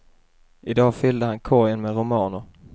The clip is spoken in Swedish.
I dag fyllde han korgen med romaner.